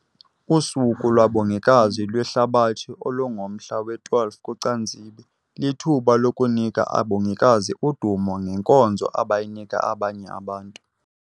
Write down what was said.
USuku lwaBongikazi lweHlabathi, olungomhla we-12 kuCanzibe, lithuba lokunika abongikazi udumo ngenkonzo abayinika abanye abantu.